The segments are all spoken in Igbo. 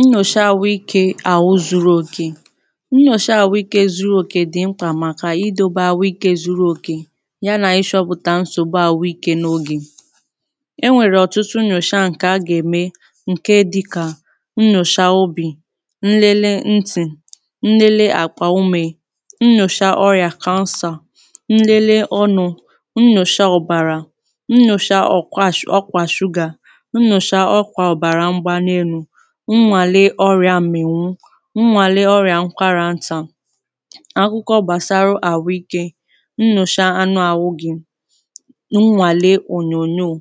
Nnyòsha àwụ ikė àhụ zuru òke. Ṅṅyòsha àhụ ikė zuru òke dị mkpa màkà idobė àwụ ikė zuru òke, ya nà ishọpụ̀tà nsògbu àwụ ikė n’ogè. Enwèrè ọ̀tụtụ nnyòsha ǹkè a gà-ème ǹke dịkà; nnyòsha obì, nlele ntị̀, nlele àkwà ume, nnòsha ọrịà kansà, nlele ọnụ nnòsha ọbàrà, nnòsha ọ̀kwàsh ọkwàshugà, nnwàle ọrịà m̀mìwù, nnwàle ọrịà nkwarà ntà, akwụkwọ gbàsara àhụikė, nnyòcha anụ àhụ gi, nnwàle ònyònyoò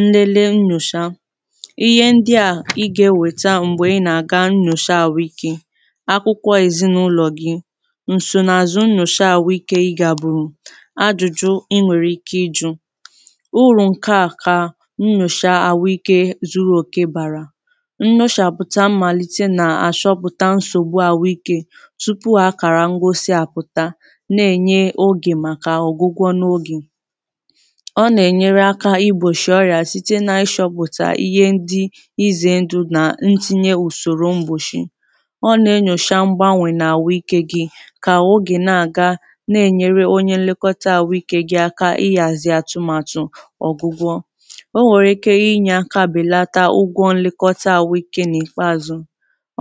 nlele nnyòsha. Ihe ndị à ị ga-ewètà m̀gbè ị na-aga nnyòcha àhụikė; akwụkwọ èzinụlọ̀ gị̀, nsonààzụ nnyòcha àhụikė ị gà bùrù, adụ̀jụ ị nwèrè ike ijụ. Urù ǹke à ka nnyosha àhụike zuru okè bàrà. Nnyoshàpụta màlite nà àshọpụ̀ta nsògbu àhụike, tụpụ ha kàrà ngosi àpụ̀ta, na-enye ogè màkà ọ̀gụgwọ n’ogè. Ọ nà-enyere aka ịgbòshì ọrị̀a site n’ashọpụ̀tà ihe ndị ịzè ndụ nà ntinye ùsòrò mgbòshì, O nà-enyòsha mgbanwè n’àhụike gị kà ahụ gị na-àga, na-enyere onye nlekọta àhụike gị aka ịyàzị atụ̀màtụ̀ ọ̀gụgwọ. O nwèrè iké ịnye akabelata ụgwọ nlekọta ahụike nà ikpeazụ.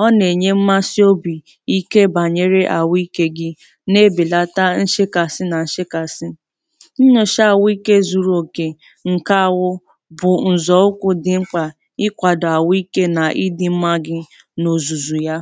Ọ na-enye mmasị obì ike banyere ànwụ ikė gị na-ebèlata nshekasị na nshekasị. Nnyòsha ànwụ ikė zuru òkè nke ànwụ, bụ̀ ǹzọ̀ụkwụ̇ dị mkpà ịkwàdò ànwụ ikė na ịdị̇ mmȧ gị n’òzùzù ya.